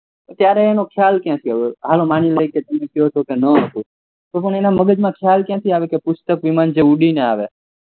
ત્યારે એનો ખ્યાલ કયાંથી આવ્યો હાલો માની લઈએ કે ન હતો તો પણ એના મગજ માં ખયાલ ક્યાંથી આવ્યો કે પુસ્તક વિમાન જે ઉડીને આવે